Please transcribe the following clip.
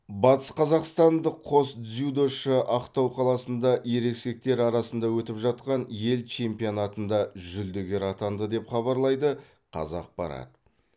батысқазақстандық қос дзюдошы ақтау қаласында ересектер арасында өтіп жатқан ел чемпионатында жүлдегер атанды деп хабарлайды қазақпарат